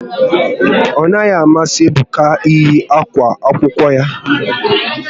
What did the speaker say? Ọ naghị amasị Ebuka eyi akwa akwụkwọ ya